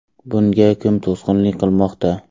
Bunga kim to‘sqinlik qilmoqda?